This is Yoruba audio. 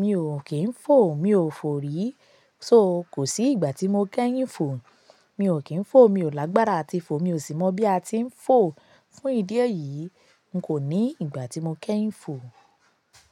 mi ò kí ń fò, mi ò fò rí. So kò sí ìgbà tí mo kẹ́yìn fò. Mi ò kí ń fò, mi ò lágbára ati fò, mi ò sì mọ̀ bí a ti ń fò. Fún ìdí èyí, n kò ní ìgbà tí mo kẹ́yìn fò.